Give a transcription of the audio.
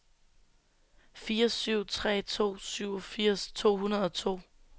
fire syv tre to syvogfirs to hundrede og to